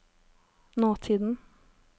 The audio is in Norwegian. nåtiden